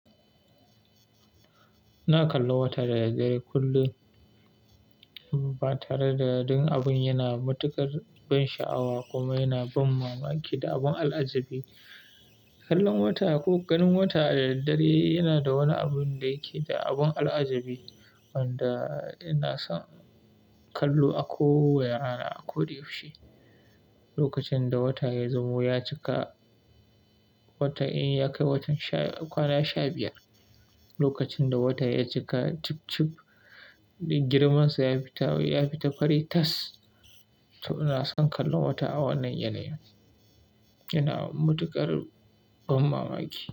Ina kallon wata da daddare kullum, ba tare da don abin yana matuƙar ban sha'awa kuma yana ban mamaki da abun al'ajabi. Kallon wata ko ganin wata a daddare yana da wani abin da yake da abun al'ajabi wanda ina son kallo a kowane rana, a koda yaushe. Lokacin da wata ya zamo ya cika, wata in ya kai watan sha kwana sha biyar, lokacin da watan ya cika cibcib, girman sa ya fita fari tas, to ina son kallon wata a wannan yanayi. Yana matuƙar ban mamaki.